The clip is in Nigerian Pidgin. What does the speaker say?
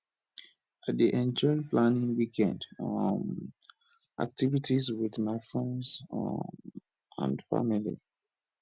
i dey enjoy planning weekend um activities with my friends um and family